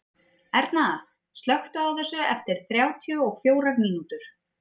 Erna, slökktu á þessu eftir þrjátíu og fjórar mínútur.